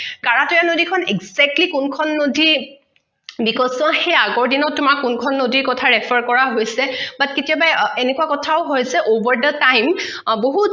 কাৰাটৈয়া নদী খন exactly কোনখন নদী because so সেই আগৰ দিনত তোমাৰ কোনখন নদীৰ কথা refer কৰা হৈছে but কেতিয়াবা এনেকুৱা কথাও হৈছে over the time বহুত